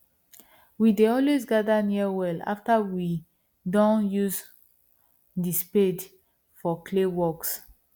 we dey always gather near wells after we doh use the spade for clay works